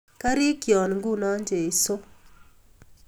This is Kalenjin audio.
Karikyion, nguno, jesu